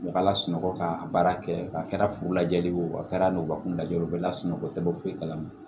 U ka lasunɔgɔ ka baara kɛ a kɛra furu lajɛli ye o a kɛra n'o kun lajɛ o bɛ lasunɔgɔ u tɛ bɔ foyi kalama